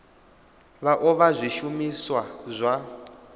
vha o vha zwishumiswa zwa